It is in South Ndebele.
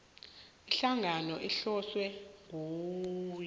ihlangano ehlonywe ngokuya